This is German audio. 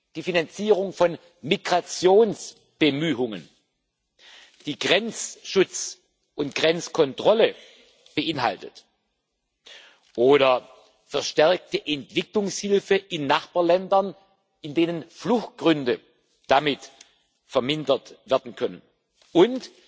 die Finanzierung von Migrationsbemühungen, die Grenzschutz und Grenzkontrolle beinhaltet, oder verstärkte Entwicklungshilfe in Nachbarländern, in denen Fluchtgründe damit vermindert werden können, und